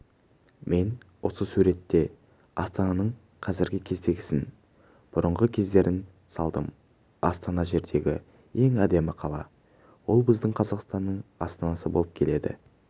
мен осы суретте астананың қазіргі кездегісін бұрынғы кездерін салдым астана жердегі ең әдемі қала ол біздің қазақстанның астанасы болып келеді